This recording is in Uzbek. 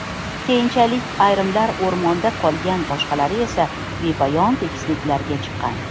Keyinchalik, ayrimlari o‘rmonda qolgan, boshqalari esa bepoyon tekisliklarga chiqqan.